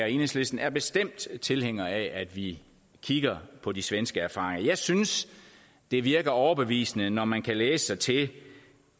enhedslisten er bestemt tilhængere af at vi kigger på de svenske erfaringer jeg synes det virker overbevisende når man kan læse sig til